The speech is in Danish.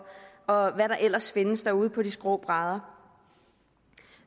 og hvad der ellers findes derude på de skrå brædder